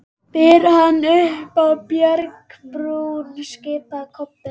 Berið hann upp á bjargbrún, skipaði Kobbi.